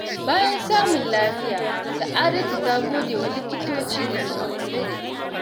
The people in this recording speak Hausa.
Bayan samun lafiya, Sa’adatu ta gode wa likitoci da suka kula da ita.